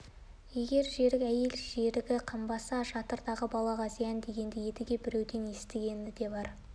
егер жерік әйел жерігі қанбаса жатырдағы балаға зиян дегенді едіге біреулерден естігені де бар